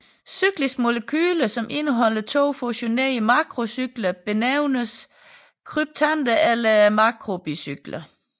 Cykliske molekyler som indeholder to fusionerede makrocykler benævnes kryptander eller makrobicykler